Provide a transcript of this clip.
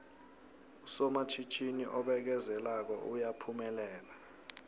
usomatjhinini obekezelako uyaphumelela